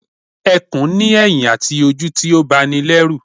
Ẹkùn ni eyin àti ojú tí ó ba ni lérù